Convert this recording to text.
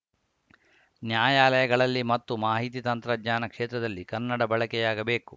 ನ್ಯಾಯಾಲಯಗಳಲ್ಲಿ ಮತ್ತು ಮಾಹಿತಿ ತಂತ್ರಜ್ಞಾನ ಕ್ಷೇತ್ರದಲ್ಲಿ ಕನ್ನಡ ಬಳಕೆಯಾಗಬೇಕು